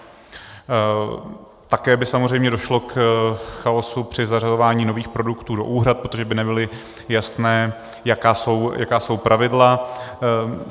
Také by samozřejmě došlo k chaosu při zařazování nových produktů do úhrad, protože by nebylo jasné, jaká jsou pravidla.